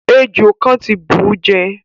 Èjò kan ti búú jẹ